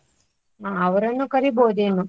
ಹಾ ಅವರನ್ನು ಕರಿಬೋದೆನೋ.